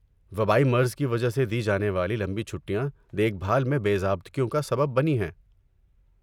وبائی مرض کی وجہ سے دی جانے والی لمبی چھٹیاں دیکھ بھال میں بے ضابطگیوں کا سبب بنی ہیں۔